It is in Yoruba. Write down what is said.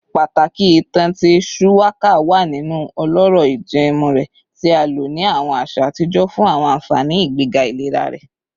Pataki itan ti shuwaka wa ninu ọlọrọ ijẹẹmu rẹ, ti a lo ni awọn aṣa atijọ fun awọn anfani igbega ilera rẹ